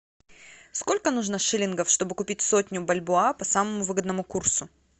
сколько нужно шиллингов чтобы купить сотню бальбоа по самому выгодному курсу